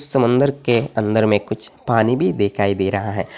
समुन्दर के अंदर में कुछ पानी भी दिखाई दे रहा है।